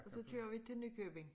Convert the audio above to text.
Og så kører vi til Nykøbing